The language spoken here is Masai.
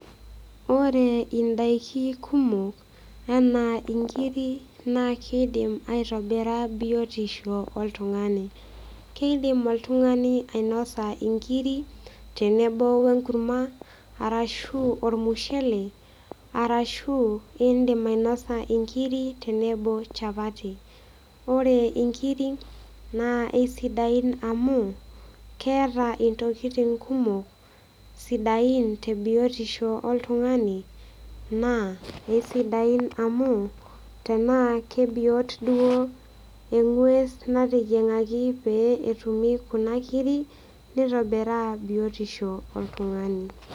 Ore indaiki kumok anaa inkiri naa kidim aitobira biotisho oltung'ani kidim oltung'ani ainosa inkiri tenebo wenkurma arashu ormushele arashu indim ainasa inkiri tenebo chapati ore inkiri naa aisidain amuu keeta intokitin kumok sidain te biotisho oltung'ani naa eisidain amuu tenaa kebiot duo eng'ues nateyieng'aki pee etumi kuna kiri nitobiraa biotisho oltung'ani.